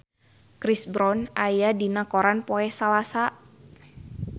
Chris Brown aya dina koran poe Salasa